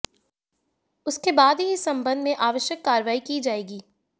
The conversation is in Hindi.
उसके बाद ही इस संबंध में आवश्यक कार्रवाई की जाएगी